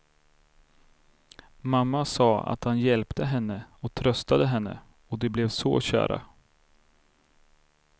Mamma sa att han hjälpte henne och tröstade henne och de blev så kära.